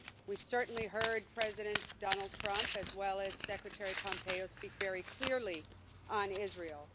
We've certainly heard President Donald Trump, as well as Secretary Pompeo, speak very clearly on Israel.